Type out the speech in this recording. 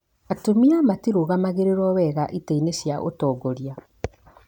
Atumia matĩrũgamĩrĩirwo wega itĩ-inĩ cia ũtongoria